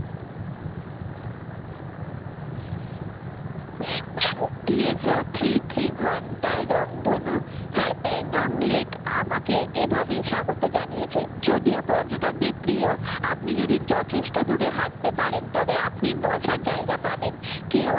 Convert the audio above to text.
TSOThree Three ঘন্টা রংধনু হ্যাঁ প্যাংগং lake আমাকে এভাবেই স্বাগত জানিয়েছে যদিও পর্যটকদের প্রিয় আপনি যদি যথেষ্ট দূরে হাঁটতে পারেন তবে আপনি বসার জায়গা পাবেন কেউ